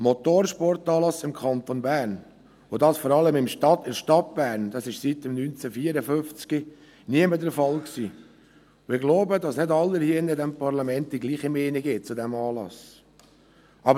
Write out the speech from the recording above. Ein Motorsportanlass im Kanton Bern – und das vor allem in der Stadt Bern – war seit 1954 nie mehr der Fall, und ich glaube, dass nicht alle hier in diesem Parlament die gleiche Meinung zu diesem Anlass haben.